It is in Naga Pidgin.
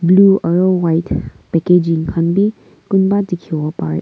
blue aro white packaging khan bhi kunba dekhivo parey.